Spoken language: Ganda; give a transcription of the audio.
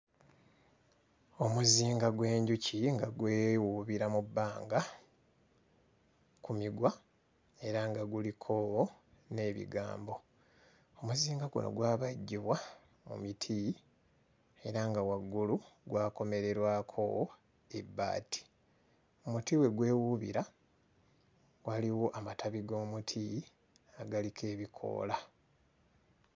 Omuzinga gw'enjuki nga gwewuubira mu bbanga ku migwa era nga guliko n'ebigambo, omuzinga guno gwabajjibwa mu miti era nga waggulu gwakomererwako ebbaati, omuti we gwewuubira waliwo amatabi g'omuti agaliko ebikoola.